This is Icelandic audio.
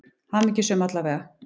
Hamingjusöm, alla vega.